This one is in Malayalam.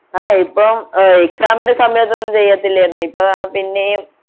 ആഹ് ഇപ്പോൾ ആഹ് exam ൻ്റെ സമയത്തു ഒന്നുംചെയ്യാത്തില്ലായിരുന്നു ഇപ്പൊ ആഹ് പിന്നിം